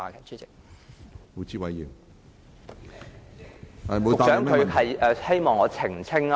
主席，局長是否希望我澄清問題？